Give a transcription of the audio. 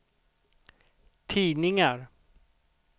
tidningar